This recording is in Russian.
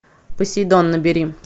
посейдон набери